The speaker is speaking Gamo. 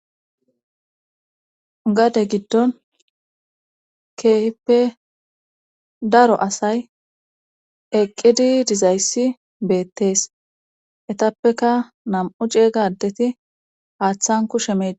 gade giddon keehippe daro asay eqqidi dizayssi beettees etappeka nam7u ceeygadeti haaththan kushe meee